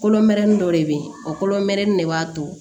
Kolonmɛrɛnin dɔ de bɛ ye o kolonmɛni de b'a to